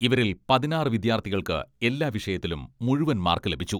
ഇവരിൽ പതിനാറ് വിദ്യാർത്ഥികൾക്ക് എല്ലാ വിഷയത്തിലും മുഴുവൻ മാർക്ക് ലഭിച്ചു.